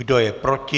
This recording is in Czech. Kdo je proti?